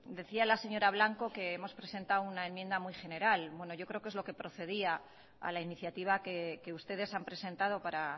decía la señora blanco que hemos presentado una enmienda muy general bueno yo creo que es lo que procedía a la iniciativa que ustedes han presentado para